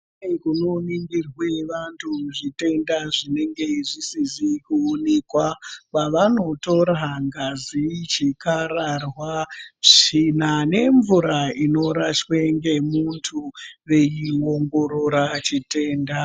Kune kunoningirwa vantu zvitenda zvinenge zvisizi kuonekwa kwavanotora ngazi, chikararwa, tsvina nemvura inorashwa ngemuntu veiongorora chitenda.